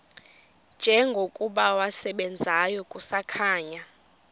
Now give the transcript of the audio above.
njengokuba wasebenzayo kusakhanya